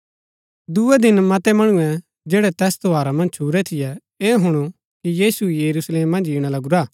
दूये दिन मतै मणुऐ जैड़ै तैस त्यौहारा मन्ज छुरै थियै ऐह हुणु कि यीशु यरूशलेम मन्ज ईणा लगूरा